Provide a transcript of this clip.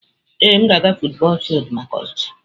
Ee m ga-aga futubọọl fildu maka ọzụzụ.